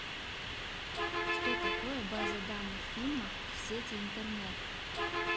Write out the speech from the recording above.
что такое база данных фильмов в сети интернет